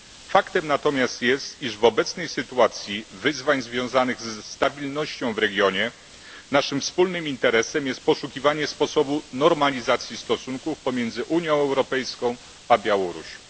Faktem natomiast jest, iż w obecnej sytuacji wyzwań związanych ze stabilnością w regionie naszym wspólnym interesem jest poszukiwanie sposobu normalizacji stosunków pomiędzy Unią Europejską a Białorusią.